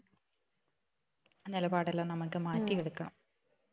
നിലപാട് എല്ലാം നമുക്ക് മാറ്റി എടുക്കണം